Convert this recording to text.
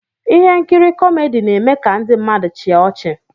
Ihe nkiri kọmedi na-eme ka ndị mmadụ chịa ọchị.